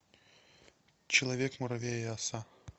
человек муравей и оса